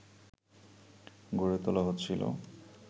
গড়ে তোলা হচ্ছিল